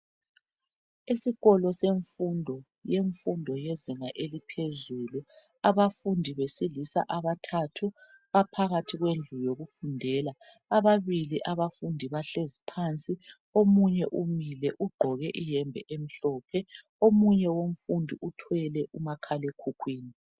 Esikolo semfundo, yemfundo yezinga eliphezulu, Abafundi besilisa abathathu baphakathi kwendlu yokufundela. Ababili abafundi bahlezi phansi. Omunye umile ugqoke iyembe emhlophe. Omunye umfundi uthwele umakhalekhukhwini.